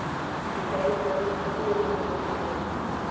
lekwalo la tumelelo go tswa